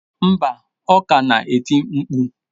Mba, ọ ka na-eti mkpu.